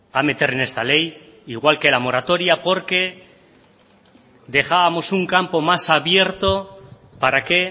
a meter en esta ley al igual que la moratoria porque dejábamos un campo más abierto para que